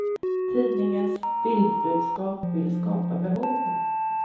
Tidningens bildbudskap vill skapa behov.